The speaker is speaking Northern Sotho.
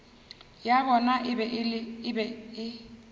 ya bona e be e